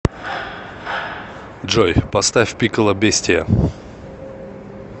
джой поставь пикколо бестия